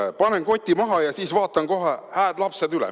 Nii, panen koti maha ja siis vaatan kohe hääd lapsed üle.